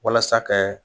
Walasa kɛ